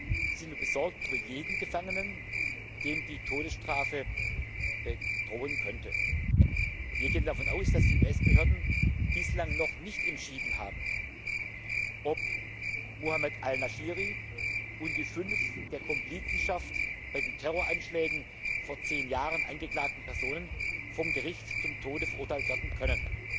Wir sind daher besorgt über jeden Gefangenen, dem die Todesstrafe drohen könnte. Wir gehen davon aus, dass die US Behörden bislang noch nicht entschieden haben, ob Muhammed al Nashiri und die fünf der Komplizenschaft bei den Terroranschlägen von vor 10 Jahren angeklagten Personen vom Gericht zum Tode verurteilt werden können.